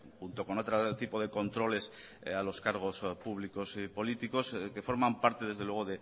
junto con otro tipo de controles a los cargos públicos y políticos que forman parte desde luego